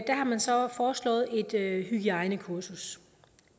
man så foreslået et hygiejnekursus